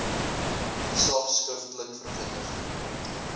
gesag skriftelik verwittig